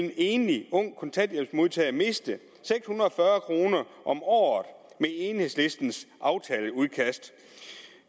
enlig ung kontanthjælpsmodtager miste seks hundrede og fyrre kroner om året med enhedslistens aftaleudkast